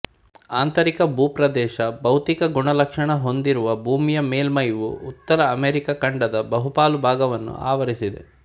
ಆಂತರಿಕ ಭೂಪ್ರದೇಶಭೌತಿಕ ಗುಣಲಕ್ಷಣ ಹೊಂದಿರುವ ಭೂಮಿಯ ಮೇಲ್ಮೈವು ಉತ್ತರ ಅಮೆರಿಕ ಖಂಡದ ಬಹುಪಾಲು ಭಾಗವನ್ನು ಆವರಿಸಿದೆ